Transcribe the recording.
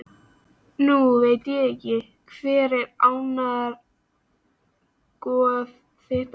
Nú veit ekki Hver var átrúnaðargoð þitt á yngri árum?